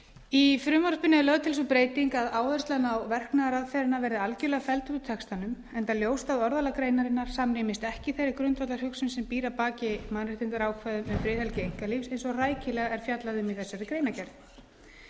í frumvarpinu er lögð til sú breyting að áherslan á verknaðaraðferðina verði algjörlega felld úr textanum enda ljóst að orðalag greinarinnar samrýmist ekki þeirri grundvallarhugsun sem býr að baki mannréttindaákvæðum um friðhelgi einkalífs eins og rækilega er fjallað um í greinargerð með frumvarpinu